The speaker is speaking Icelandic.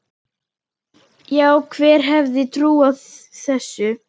Já, hver hefði trúað þessu?